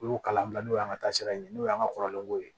Olu kalan bila n'o y'an ka taa sira ɲini n'o y'an ka kɔrɔlen ko ye